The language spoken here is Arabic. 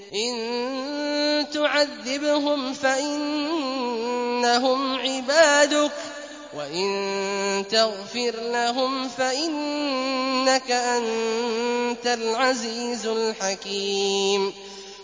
إِن تُعَذِّبْهُمْ فَإِنَّهُمْ عِبَادُكَ ۖ وَإِن تَغْفِرْ لَهُمْ فَإِنَّكَ أَنتَ الْعَزِيزُ الْحَكِيمُ